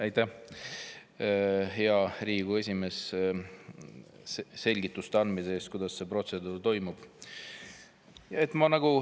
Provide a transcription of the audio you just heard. Aitäh, hea Riigikogu esimees, et andsite selgitusi, kuidas see protseduur toimub!